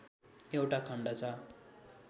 एउटा खण्ड छ